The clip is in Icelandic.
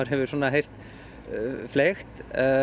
heyrt fleygt